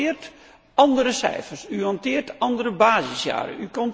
U hanteert andere cijfers, u hanteert andere basisjaren.